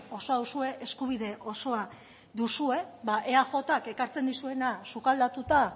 osoa duzue eskubide osoa duzue ba eajk ekartzen dizuena sukaldatuta